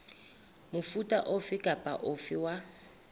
mofuta ofe kapa ofe wa